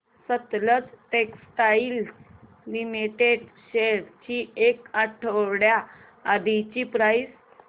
Sutlej textiles limited shares ची एक आठवड्या आधीची प्राइस